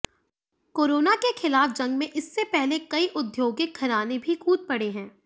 corona के खिलाफ जंग में इससे पहले कई औद्यौगिक घराने भी कूद पड़े हैं